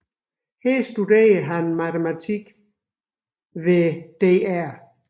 Her studerede han matematik hos dr